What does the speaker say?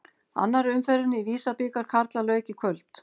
Annarri umferðinni í Visa-bikar karla lauk í kvöld.